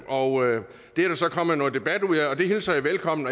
og det er der så kommet noget debat ud af og det hilser jeg velkommen